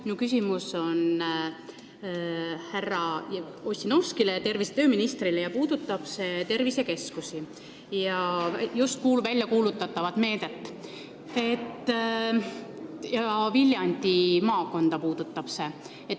Minu küsimus on suunatud härra Ossinovskile, tervise- ja tööministrile, ning see puudutab tervisekeskusi, just väljakuulutatavat meedet ja Viljandi maakonda.